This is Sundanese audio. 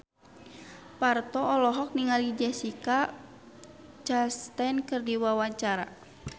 Parto olohok ningali Jessica Chastain keur diwawancara